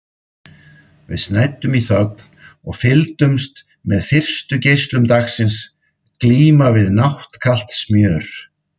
Við snæddum í þögn og fylgdumst með fyrstu geislum dagsins glíma við náttkalt smjör.